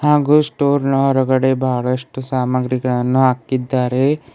ಹಾಗೂ ಸ್ಟೋರ್ ನ ಹೊರಗಡೆ ಬಹಳಷ್ಟು ಸಾಮಾನುಗಳನ್ನು ಹಾಕಿದ್ದಾರೆ.